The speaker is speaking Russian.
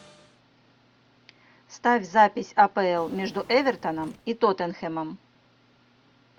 ставь запись апл между эвертоном и тоттенхэмом